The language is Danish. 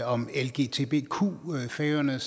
om lgbtq på færøerne